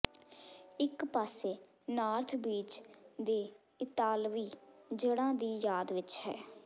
ਇਕ ਪਾਸੇ North Beach ਦੇ ਇਤਾਲਵੀ ਜੜ੍ਹਾਂ ਦੀ ਯਾਦ ਵਿਚ ਹੈ